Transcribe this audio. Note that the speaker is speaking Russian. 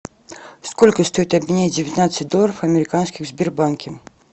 сколько стоит обменять девятнадцать долларов американских в сбербанке